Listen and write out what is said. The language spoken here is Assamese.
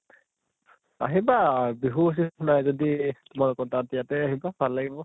আহিবা বিহু হুচৰি নাই যদি তোমালোকৰ তাত ইয়াতে আহিবা, ভাল লাগিব